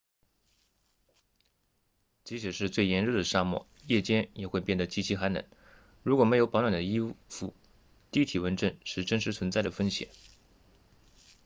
即使是最炎热的沙漠夜间也会变得极其寒冷如果没有保暖的衣服低体温症是真实存在的风险